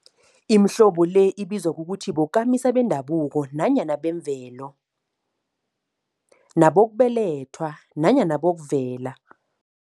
Imihlobo le ibizwa ukuthi bokamisa bendabuko nanyana bemvelo, nabokubelethwa nanyana bokuvela.